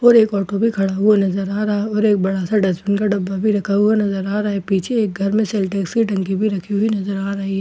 और एक ऑटो भी खड़ा हुआ नजर आ रहा है और एक बड़ा सा डस्टबिन का डब्बा भी रखा नजर आ रहा है पीछे एक घर में सिन्टेक्स की टंकी भी रखी हुई नज़र आ रही है --